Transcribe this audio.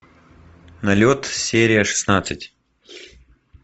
налет серия шестнадцать